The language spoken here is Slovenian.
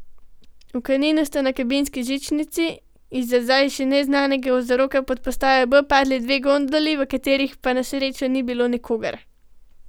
Na Kaninu sta na kabinski žičnici iz za zdaj še neznanega vzroka pod postajo B padli dve gondoli, v katerih pa na srečo ni bilo nikogar.